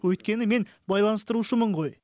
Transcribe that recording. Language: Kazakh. өйткені мен байланыстырушымын ғой